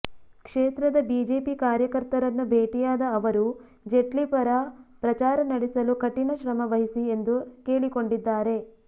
ಕ್ಷೇತ್ರದ ಬಿಜೆಪಿ ಕಾರ್ಯಕರ್ತರನ್ನು ಭೇಟಿಯಾದ ಅವರು ಜೆಟ್ಲಿ ಪರ ಪ್ರಚಾರ ನಡೆಸಲು ಕಠಿಣ ಶ್ರಮ ವಹಿಸಿ ಎಂದು ಕೇಳಿಕೊಂಡಿದ್ದಾರೆ